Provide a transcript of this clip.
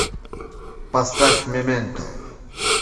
поставь мементо